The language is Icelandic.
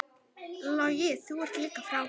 Logi, þú ert líka frábær.